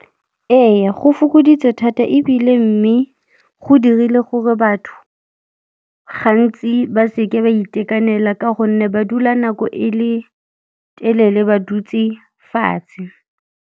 Eya, go fokoditse thata ebile mme go dirile gore batho gantsi ba seke ba itekanela ka gonne ba dula nako e le telele ba dutse fatshe.